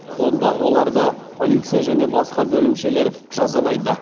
онда оларды полиция және басқа бөлімшелер жазалайды